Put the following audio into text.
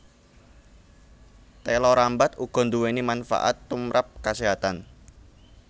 Téla rambat uga nduwéni manfaat tumrap kaséhatan